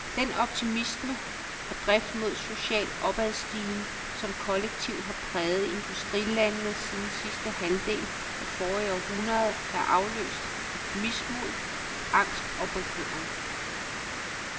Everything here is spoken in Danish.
Den optimisme og drift mod social opadstigen, som kollektivt har præget industrilandene siden sidste halvdel af forrige århundrede, er afløst af mismod, angst og bekymring.